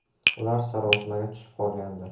“Ular sarosimaga tushib qolgandi.